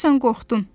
Deyəsən qorxdun.